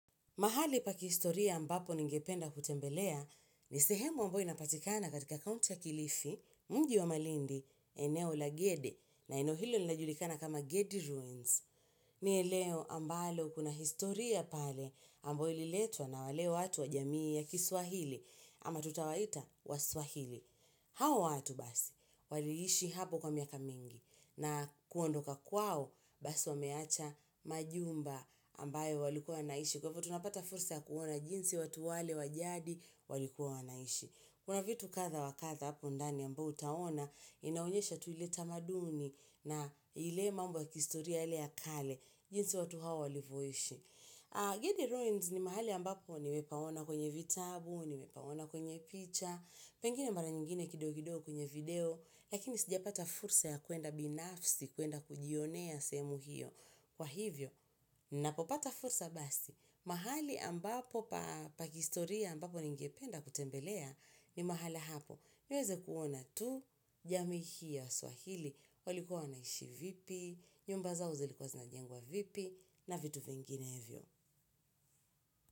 Mahali pa kihistoria ambapo ningependa kutembelea ni sehemu ambayo inapatikana katika kaunti ya kilifi mji wa malindi eneo la Gede na eneo hilo linajulikana kama Gede Ruins. Ni eleo ambalo kuna historia pale ambayo ililetwa na wale watu wa jamii ya kiswahili ama tutawaita waswahili. Hawa watu basi, waliishi hapo kwa miaka mingi na kuondoka kwao basi wameacha majumba ambayo walikuwa wanaishi Kwa hivyo tunapata fursa ya kuona jinsi watu wale wajadi walikuwa wanaishi Kuna vitu katha wakatha hapo ndani ambayo utaona inaonyesha tuileta maduni na ile mambo ya kihistoria ile yakale jinsi watu hao walivoishi Gede ruins ni mahali ambapo nimepaona kwenye vitabu, nimepaona kwenye picha Pengine mara nyingine kidogo kidogo kwenye video, lakini sija pata fursa ya kwenda binafsi, kwenda kujionea sehemu hiyo. Kwa hivyo, ninapopata fursa basi, mahali ambapo pakihistoria ambapo ningependa kutembelea ni mahala hapo. Niweze kuona tu, jamii hii ya waswahili, walikuwa wanaishi vipi, nyumba zao zi likuwa zinajengwa vipi, na vitu vingine hivyo.